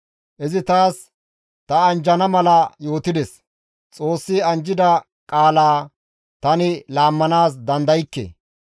Izi taas ta anjjana mala yootides; Xoossi anjjida qaalaa tani laammanaas dandaykke.